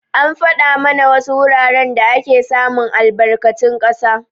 An fada mana wasu wuraren da ake samun albarkatun ƙasa.